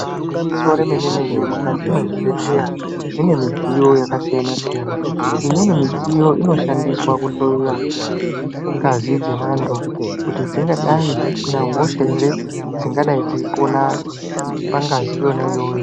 Igwinyiso remene mene mukati mwezvibhedhleya mune midziyo yakasiyana siyana imweni midziyo inoshandiswa kuhloyiwa ngazi dzevandu kuti dzingadai dzisina hosha here dzingadai dzeyipona pangazi iyoyoyo.